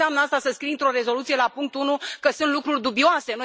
Ce înseamnă asta, să scrii într o rezoluție, la punctul 1, că sunt lucruri dubioase?